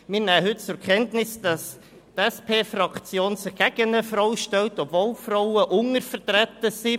Wir nehmen heute zur Kenntnis, dass die SPFraktion sich gegen eine Frau stellt, obwohl Frauen untervertreten sind.